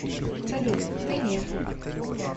салют ты не